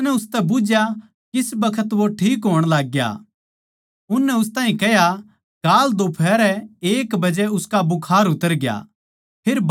उसनै उसतै बुझ्झया किस बखत वो ठीक होण लागग्या उननै उस ताहीं कह्या काल दोफहरै एक बजे उसका बुखार उतर गया